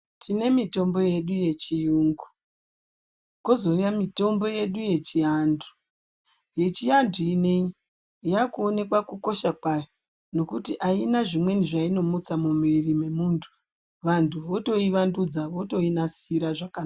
Tine mitombo yedu yechiyungu kozouya mitombo yedu yechiantu . Yechiantu ineyi yakuoneka kukosha kwayo ngekuti aina zvimweni zvainomutsa mumuviri memuntu, vantu vakutoivandudza kutoinasira zvekare.